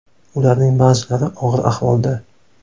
Ularning ba’zilari og‘ir ahvolda.